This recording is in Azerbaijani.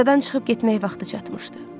Adadan çıxıb getmək vaxtı çatmışdı.